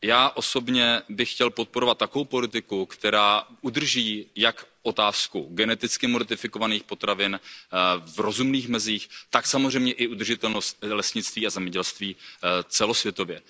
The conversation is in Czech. Já osobně bych chtěl podporovat takovou politiku, která udrží jak otázku geneticky modifikovaných potravin v rozumných mezích, tak samozřejmě i udržitelnost lesnictví a zemědělství celosvětově.